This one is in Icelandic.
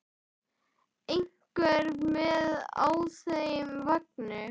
Einhver með á þeim vagni?